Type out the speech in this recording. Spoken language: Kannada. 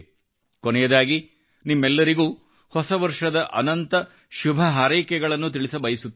ಕೊನೆಯದಾಗಿ ನಿಮ್ಮೆಲ್ಲರಿಗೂ ಹೊಸ ವರ್ಷದ ಅನಂತ ಶುಭಹಾರೈಕೆಗಳನ್ನು ತಿಳಿಸಬಯಸುತ್ತೇನೆ